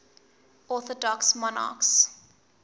orthodox monarchs